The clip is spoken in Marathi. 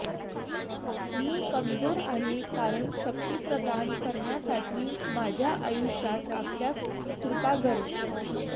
मी कमजोर आहे कारण शक्ती प्रदान करण्यासाठी माझ्या आयुष्यात आपल्या कृपा गरज